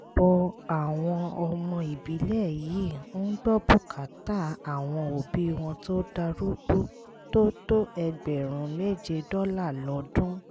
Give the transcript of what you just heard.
ọ̀pọ̀ àwọn ọmọ ìbílẹ̀ yìí ń gbọ́ bùkátà àwọn òbí wọn tó darúgbó tó tó ẹgbẹ̀rún méje dọ́là lọ́dún